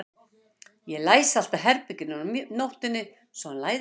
Ég læsi alltaf herberginu mínu á nóttunni svo hann læðist ekki inn til mín.